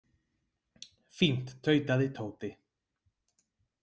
Fínt tautaði Tóti.